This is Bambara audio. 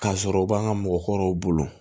K'a sɔrɔ u b'an ka mɔgɔkɔrɔw bolo